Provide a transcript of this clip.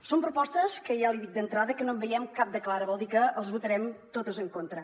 són propostes que ja l’hi dic d’entrada no en veiem cap de clara vol dir que les votarem totes en contra